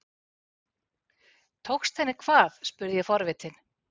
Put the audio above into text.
Tókst henni hvað? spurði ég forvitin.